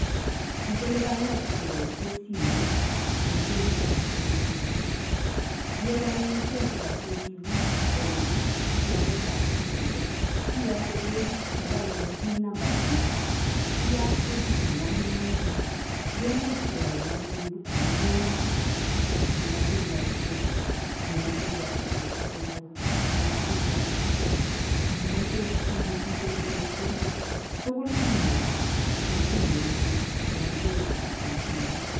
Ni ko lipanet keboisien simet eng' benkitab KCB. Ye iwe anyun benkitab KCB eng' lipanetab simoit, iyote pechit nekainde PIN Number nen'ung'. Iyaat pechit nemong'u neunii kemuuch keyoun anyun huduma nekemoche. Ngimoche ial credit, ngimoche iyokte chepkondok, ngimoche ial token, ngimoche icheruu chepkondok tugul inyoru en simoitng'ung' kobun benkitab KCB.